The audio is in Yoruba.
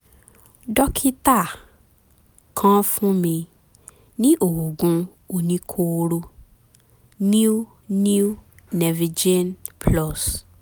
dókítà kan fún mi ní oògùn oníkóóró um new new nervijen plus